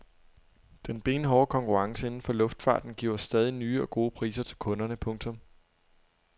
Den benhårde konkurrence inden for luftfarten giver stadig nye og gode priser til kunderne. punktum